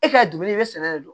E ka dumuni i bɛ sɛnɛ de don